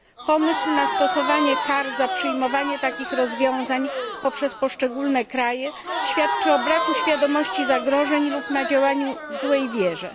Pomysł stosowania kar za przyjmowanie takich rozwiązań poprzez poszczególne kraje świadczy o braku świadomości zagrożeń lub działaniu w złej wierze.